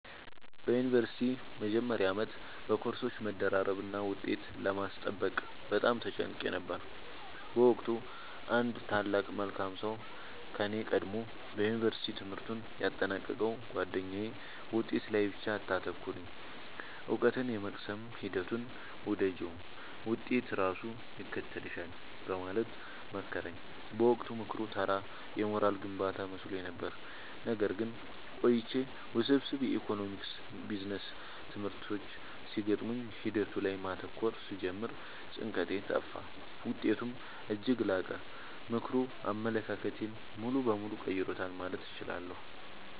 በዩኒቨርሲቲ መጀመሪያ ዓመት በኮርሶች መደራረብና ውጤት ለማስጠበቅ በጣም ተጨንቄ ነበር። በወቅቱ አንድ ታላቅ መልካም ሰው ከኔ ቀድሞ የዩንቨርስቲ ትምህርቱን ያጠናቀቀው ጉአደኛዬ «ውጤት ላይ ብቻ አታተኩሪ: እውቀትን የመቅሰም ሂደቱን ውደጂው፣ ውጤት ራሱ ይከተልሻል» በማለት መከረኝ። በወቅቱ ምክሩ ተራ የሞራል ግንባታ መስሎኝ ነበር። ነገር ግን ቆይቼ ውስብስብ የኢኮኖሚክስና ቢዝነስ ትምህርቶች ሲገጥሙኝ ሂደቱ ላይ ማተኮር ስጀምር ጭንቀቴ ጠፋ: ውጤቴም እጅግ ላቀ። ምክሩ አመለካከቴን ሙሉ በሙሉ ቀይሮታል ማለት እችላለሁ።